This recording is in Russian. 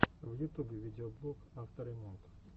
в ютубе видеоблог авто ремонт